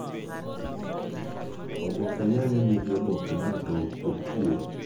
Oboke nyanya nigi oboke ma ratong' o otwuo.